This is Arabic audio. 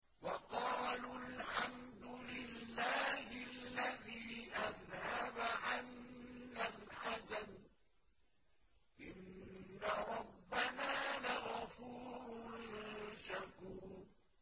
وَقَالُوا الْحَمْدُ لِلَّهِ الَّذِي أَذْهَبَ عَنَّا الْحَزَنَ ۖ إِنَّ رَبَّنَا لَغَفُورٌ شَكُورٌ